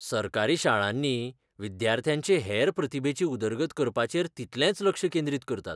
सरकारी शाळांनी विद्यार्थ्यांचे हेर प्रतिभेची उदरगत करपाचेर तितलेंच लक्ष केंद्रीतकरतात .